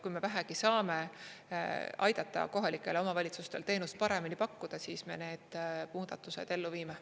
Kui me vähegi saame aidata kohalikel omavalitsustel teenust paremini pakkuda, siis me need muudatused ellu viime.